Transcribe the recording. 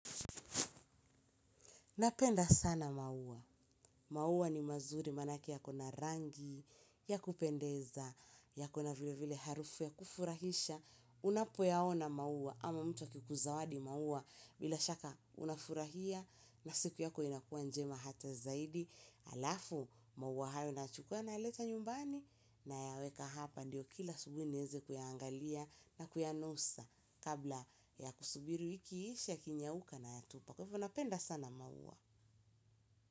Napenda sana maua. Maua ni mazuri manake yako na rangi ya kupendeza, yako na vile vile harufu ya kufurahisha, unapoyaona maua ama mtu akikuzawadi maua bila shaka unafurahia na siku yako inakuwa njema hata zaidi. Halafu maua hayo nayachukua nayaleta nyumbani nayaweka hapa ndiyo kila asubuhi niweze kuyaangalia na kuyanusa kabla ya kusubiri wiki iishe yakinyauka nayatupa kwa hivyo napenda sana maua.